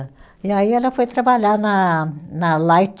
E aí ela foi trabalhar na na Light,